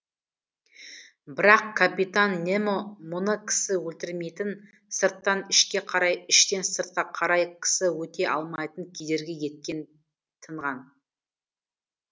бірақ капитан немо мұны кісі өлтірмейтін сырттан ішке қарай іштен сыртқа қарай кісі өте алмайтын кедергі еткен тынған